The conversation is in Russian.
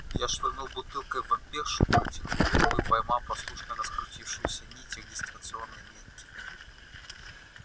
я швырнул бутылкой в вампиршу протянул руку и поймал послушно раскрутившуюся нить регистрационной метки